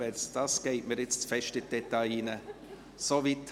Denn dies geht mir nun zu weit in die Details.